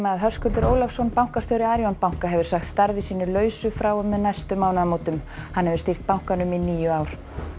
Höskuldur Ólafsson bankastjóri Arion banka hefur sagt starfi sínu lausu frá og með næstu mánaðamótum hann hefur stýrt bankanum í níu ár